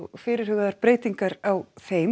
fyrirhugaðar breytingar á þeim